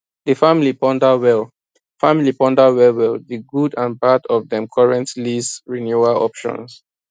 di family ponder well family ponder well well di good and bad of dem current lease renewal options